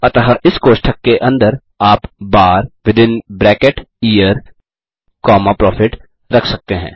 अतः इस कोष्ठक के अंदर आप बार यियर comma प्रॉफिट रख सकते हैं